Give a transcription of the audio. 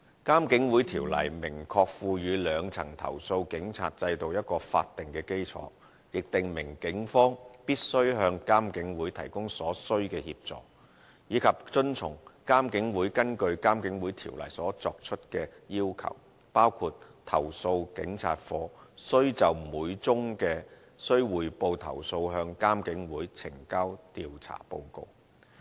《監警會條例》明確賦予兩層投訴警察制度法定基礎，亦訂明警方必須向監警會提供所須的協助，以及遵從監警會根據《監警會條例》所作出的要求，包括投訴警察課須就每宗須匯報投訴向監警會呈交調查報告。